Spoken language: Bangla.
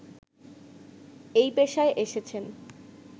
এই পেশায় এসেছেন